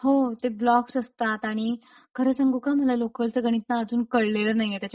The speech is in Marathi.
हो ते ब्लॉक्स असतात आणि खरं सांगू का मला लोकलच गणित ना अजून कळलेलं नाहीये त्याच्यामुळे